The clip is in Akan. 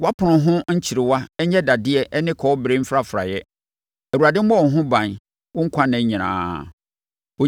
Wʼapono ho nkyerewa nyɛ dadeɛ ne kɔbere mfrafraeɛ; Awurade mmɔ wo ho ban wo nkwa nna nyinaa.